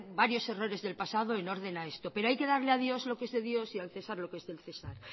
varios errores del pasado en orden a esto pero hay que darle a dios lo que es de dios y al cesar lo que es del cesar